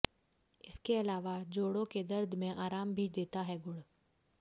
इसके अलावा जोड़ों के दर्द में आराम भी देता है गुड़